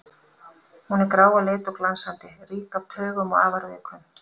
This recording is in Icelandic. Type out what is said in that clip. Hún er grá að lit og glansandi, rík af taugum og afar viðkvæm.